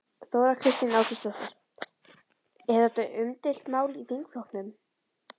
Þóra Kristín Ásgeirsdóttir: Er þetta umdeilt mál í þingflokknum?